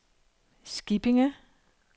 Skippinge